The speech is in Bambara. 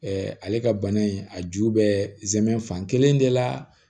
ale ka bana in a ju bɛ zɛmɛ fankelen de la